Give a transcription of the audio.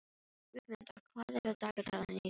Guðmunda, hvað er á dagatalinu í dag?